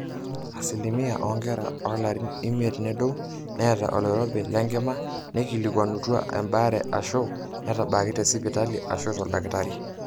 asilimia oonkera oolarin imiet nedou naata oloirobi le nkima naaikilikwanutwa embaare aashu naatabaaki tesipitali aashu toldakitari